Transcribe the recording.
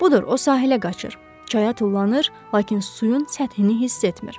Budur, o sahilə qaçır, çaya tullanır, lakin suyun səthini hiss etmir.